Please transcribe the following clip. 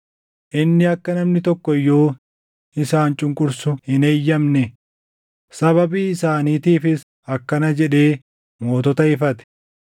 Inni akka namni tokko iyyuu isaan cunqursu hin eeyyamne; sababii isaaniitiifis akkana jedhee mootota ifate: